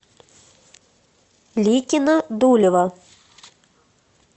ликино дулево